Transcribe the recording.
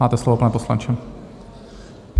Máte slovo, pane poslanče.